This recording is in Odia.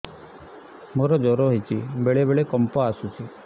ମୋତେ ଜ୍ୱର ହେଇଚି ବେଳେ ବେଳେ କମ୍ପ ଆସୁଛି